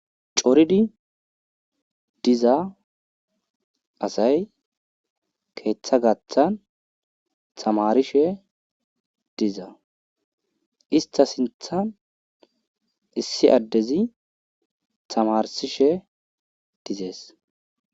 Coridi diza asay keeththa gaaththan tamarishe diza ista sinththa issi adezi tamarishe dizees.